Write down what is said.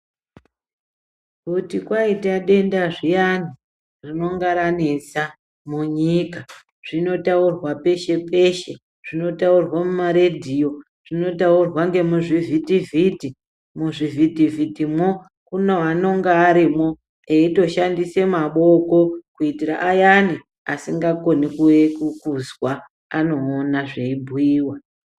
Kuti kwaita denda zviyani rinonga ranesa munyika zvinotaurwa peshe-peshe zvinotaurwa mumaredhiyo, zvinotaurwa ngemuzvivhitivhiti. Muzvivhitivhitimwo kune anenge varimwo veishandise maboko kuitira ayani asingakoni kuzwa, anoona zveibhuyiwa.